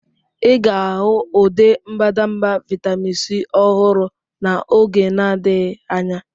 Ị ga-ahụ ụdị mbadamba vitamin C ọhụrụ n'oge na-adịghị anya.